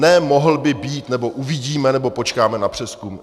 Ne mohl by být, nebo uvidíme, nebo počkáme na přezkum.